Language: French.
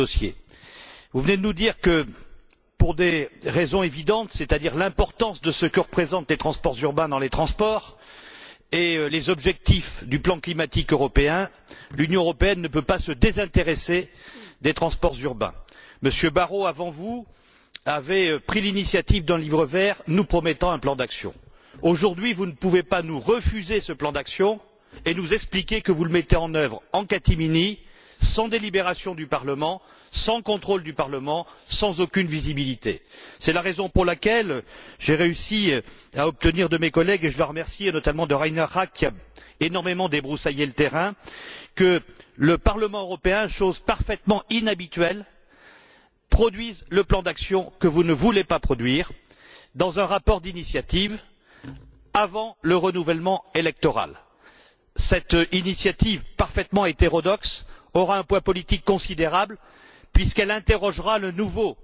Madame la Présidente, Madame la Commissaire, vous venez de nous conforter dans l'initiative que compte prendre le Parlement européen sur ce dossier. Vous venez de nous dire que, pour des raisons évidentes, c'est à dire, l'importance de ce que représentent les transports urbains dans les transports, et les objectifs du plan climatique européen, l'Union européenne ne peut pas se désintéresser des transports urbains. Monsieur Barrault, avant vous, avait pris l'initiative d'un Livre vert, nous promettant un plan d'action. Aujourd'hui, vous ne pouvez pas nous refuser ce plan d'action et nous expliquer que vous le mettez en œuvre en catimini, sans délibérations du Parlement, sans contrôle du Parlement, sans aucune visibilité. C'est la raison pour laquelle j'ai réussi à obtenir de mes collègues et je dois les remercier, notamment de Reinhard Rack, qui a énormément débroussaillé le terrain que le Parlement européen, chose parfaitement inhabituelle, produise le plan d'action que vous ne voulez pas produire, dans un rapport d'initiative, avant le renouvellement électoral. Cette initiative parfaitement hétérodoxe aura un poids politique considérable puisqu'elle interrogera le nouveau